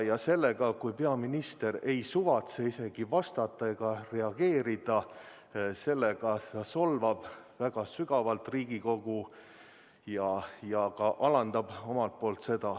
Ja sellega, kui peaminister ei suvatse meile vastata ega üldse reageerida, ta solvab väga sügavalt Riigikogu ja ka alandab meid.